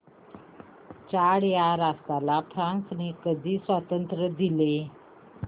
Chad या राष्ट्राला फ्रांसने कधी स्वातंत्र्य दिले